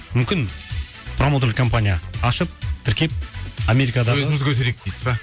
мүмкін промоутер компания ашып тіркеп америкадағы өзіміз көтерейік дейсіз ба